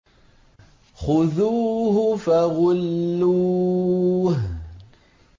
خُذُوهُ فَغُلُّوهُ